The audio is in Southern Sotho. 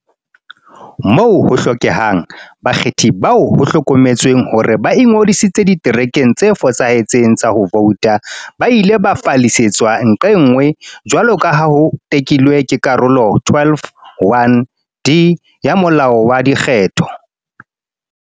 Moo ho hlokehang, bakgethi bao ho hlokometsweng hore ba ingodisitse diterekeng tse fosahetseng tsa ho vouta ba ile ba fallisetswa nqe nngwe, jwaloka ha ho tekilwe ke Karolo 12, 1, d ya Molao wa Dikgetho.